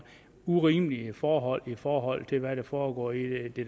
urimelige forhold i forhold til hvad der foregår i det